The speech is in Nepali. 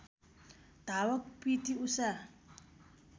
धावक पिटी उषा